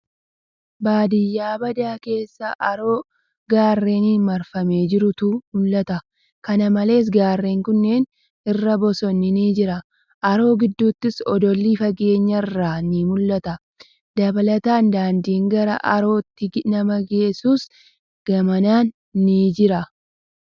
Baadiyyaa badaa keessa haroo garreeniin marfamee jirutu mul'ata. Kana malees, garreen kunneen irra bosonni ni jira. Haroo gidduuttis odolli fageenya irraa ni mul'ata. Dabalataan, daandiin gara haroottti nama geessuus gamanaan ni jira.